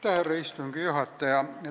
Härra istungi juhataja!